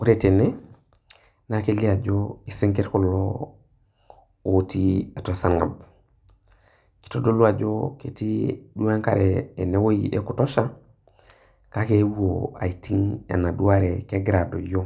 Ore tene naa kelio ajo isinkirr kulo otii atua esarng'ab. Eitadolu ajo ketii duo ene wueji enkare ya kutosha kake eewuo aiting' enaduo are eewuo adoyo,